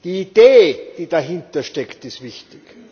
Die Idee, die dahinter steckt, ist wichtig.